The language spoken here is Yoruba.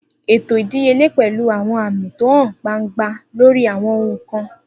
Eto idiyele pẹlu àwọn aami ti o han gbangba lori àwọn ohun kan.